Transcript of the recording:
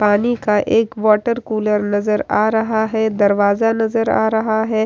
पानी का एक वाटर कूलर नजर आ रहा है दरवाजा नजर आ रहा है।